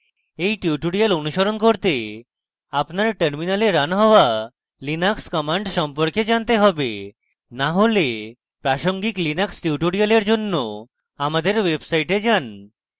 এই tutorial অনুসরণ করতে